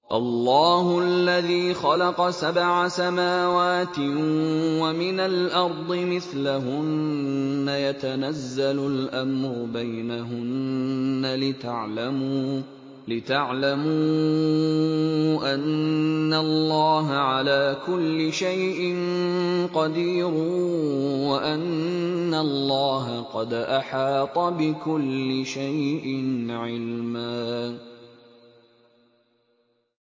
اللَّهُ الَّذِي خَلَقَ سَبْعَ سَمَاوَاتٍ وَمِنَ الْأَرْضِ مِثْلَهُنَّ يَتَنَزَّلُ الْأَمْرُ بَيْنَهُنَّ لِتَعْلَمُوا أَنَّ اللَّهَ عَلَىٰ كُلِّ شَيْءٍ قَدِيرٌ وَأَنَّ اللَّهَ قَدْ أَحَاطَ بِكُلِّ شَيْءٍ عِلْمًا